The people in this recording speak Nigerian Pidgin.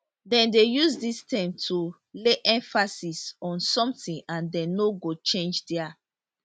dem dey use dis term to lay emphasis on something and dem no go change dia